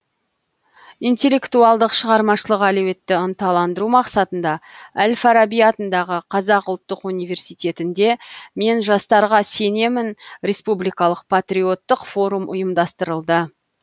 интеллектуалдық шығармашылық әлеуетті ынталандыру мақсатында әл фараби атындағы қазақ ұлттық университетінде мен жастарға сенемін республикалық патриоттық форум ұйымдастырылды